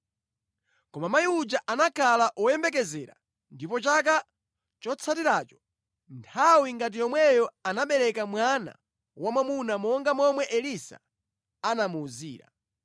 Koma mayi uja anakhala woyembekezera, ndipo chaka chotsatiracho, nthawi ngati yomweyo anabereka mwana wamwamuna monga momwe Elisa anamuwuzira.